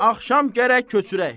Axşam gərək köçürək.